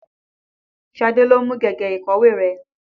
Ṣadé ló mú gègé ìkọ̀wé rẹ.